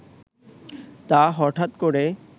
তা হঠাৎ করে